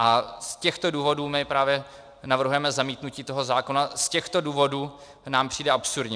A z těchto důvodů my právě navrhujeme zamítnutí toho zákona, z těchto důvodů nám přijde absurdní.